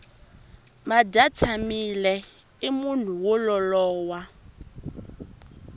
madyatshamile i munhu wo lolowa